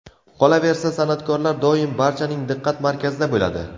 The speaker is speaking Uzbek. Qolaversa, san’atkorlar doim barchaning diqqat markazida bo‘ladi.